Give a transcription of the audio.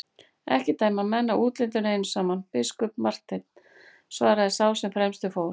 Ekki dæma menn af útlitinu einu saman, biskup Marteinn, svaraði sá sem fremstur fór.